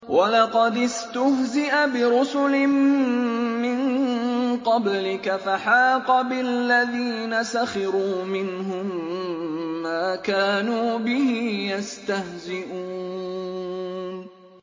وَلَقَدِ اسْتُهْزِئَ بِرُسُلٍ مِّن قَبْلِكَ فَحَاقَ بِالَّذِينَ سَخِرُوا مِنْهُم مَّا كَانُوا بِهِ يَسْتَهْزِئُونَ